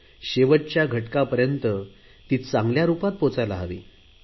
शेवटच्या घटकापर्यंत ती चांगल्या रुपात पोहचायला हवी